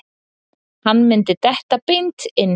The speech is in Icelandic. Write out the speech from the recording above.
Hann myndi detta beint inn.